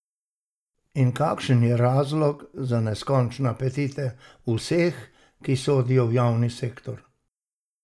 In kakšen je razlog za neskončne apetite vseh, ki sodijo v javni sektor?